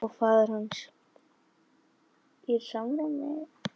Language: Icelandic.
Og faðir hans?